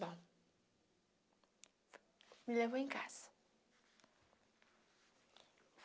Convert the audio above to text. Bom, me levou em casa.